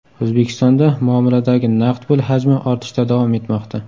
O‘zbekistonda muomaladagi naqd pul hajmi ortishda davom etmoqda.